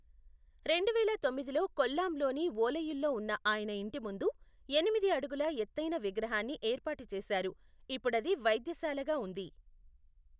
రెండువేల తొమ్మిదిలో కొల్లాంలోని ఓలయిల్లో ఉన్న ఆయన ఇంటి ముందు ఎనిమిది అడుగుల ఎత్తైన విగ్రహాన్ని ఏర్పాటు చేశారు, ఇప్పుడది వైద్యశాలగా ఉంది.